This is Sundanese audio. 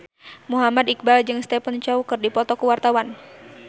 Muhammad Iqbal jeung Stephen Chow keur dipoto ku wartawan